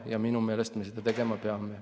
Ja seda me minu meelest tegema peame.